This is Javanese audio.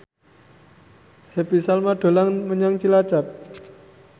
Happy Salma dolan menyang Cilacap